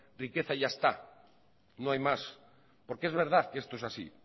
riqueza y ya está no hay más porque es verdad que esto es así